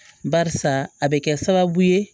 Barisa a bɛ kɛ sababu ye